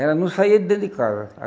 Ela não saía de dentro de casa.